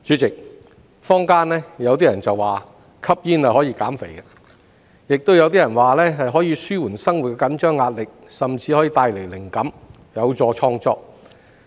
主席，坊間有人說吸煙可以減肥，亦有人說可以紓緩生活的緊張壓力，甚至帶來靈感，有助創作。